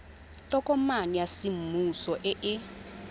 tokomane ya semmuso e e